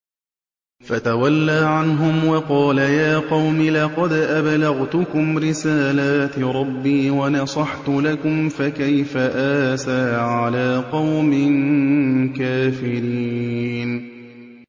فَتَوَلَّىٰ عَنْهُمْ وَقَالَ يَا قَوْمِ لَقَدْ أَبْلَغْتُكُمْ رِسَالَاتِ رَبِّي وَنَصَحْتُ لَكُمْ ۖ فَكَيْفَ آسَىٰ عَلَىٰ قَوْمٍ كَافِرِينَ